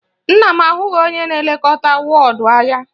Nna m ahụghị onye na-elekọta wọọdụ ya